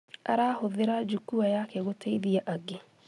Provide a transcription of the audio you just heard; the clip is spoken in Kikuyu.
Arahũthĩra jukua yake gũteithia angĩ